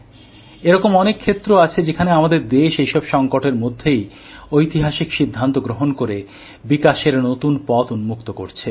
এরকম অনেক ক্ষেত্র আছে যেখানে আমাদের দেশ এইসব সংকটের মধ্যেই ঐতিহাসিক সিদ্ধান্ত গ্রহণ করে বিকাশের নতুন পথ উন্মুক্ত করছে